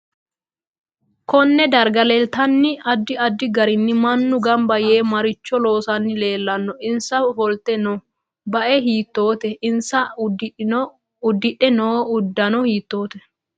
KOnne darga leeltanni addi addi garinni manu ganba yee maricho loosani leelanno insa ofolte noo baae hitoote aanasa udidhe noo uddano hitoote